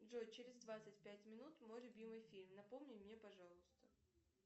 джой через двадцать пять минут мой любимый фильм напомни мне пожалуйста